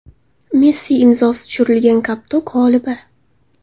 Messi imzosi tushirilgan koptok g‘olibi.